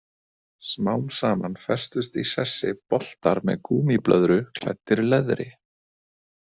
Smám saman festust í sessi boltar með gúmmíblöðru klæddir leðri.